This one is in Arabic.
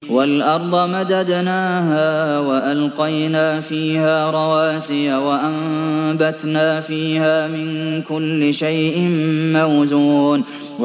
وَالْأَرْضَ مَدَدْنَاهَا وَأَلْقَيْنَا فِيهَا رَوَاسِيَ وَأَنبَتْنَا فِيهَا مِن كُلِّ شَيْءٍ مَّوْزُونٍ